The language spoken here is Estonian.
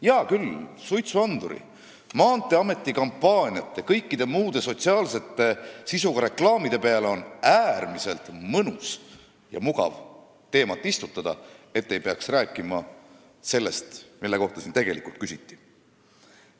Hea küll, suitsuandurite, Maanteeameti kampaaniate ja kõikide muude sotsiaalse sisuga reklaamide peale on ju äärmiselt mõnus ja mugav teemat istutada, et ei peaks rääkima sellest, mille kohta siin tegelikult küsiti.